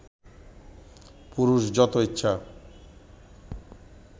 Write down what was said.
পুরুষ যত ইচ্ছা